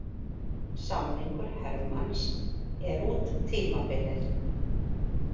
Samningur Hermanns er út tímabilið.